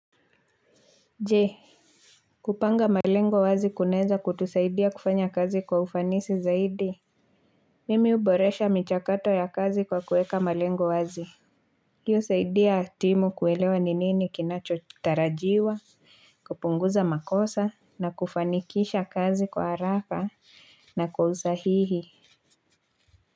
Jee kupanga malengo wazi kunaeza kutusaidia kufanya kazi kwa ufanisi zaidi. Mimi huboresha michakato ya kazi kwa kueka malengo wazi. Hii husaidia timu kuelewa ni nini kinachotarajiwa kupunguza makosa na kufanikisha kazi kwa haraka na kwa usahihi.